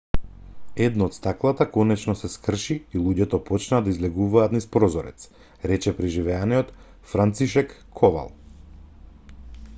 едно од стаклата конечено се скрши и луѓето почнаа да излегуваат низ прозорец рече преживеаниот францишек ковал